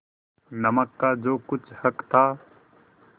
नमक का जो कुछ हक था